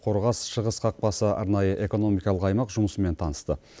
қорғас шығыс қақпасы арнайы экономикалық аймақ жұмысымен танысты